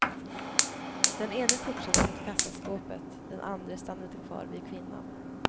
Den ene fortsatte mot kassaskåpet, den andre stannade kvar vid kvinnan.